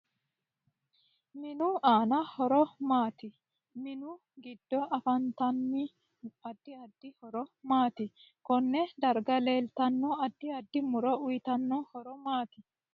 MInu aano horo maati minu giddo afantanno addi addi horo maati konne darga leeltanno addi addi muro uyiitanno horo maati